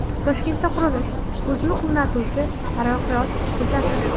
Toshkentda qurilish: Ko‘zni quvnatovchi Taraqqiyot ko‘chasi.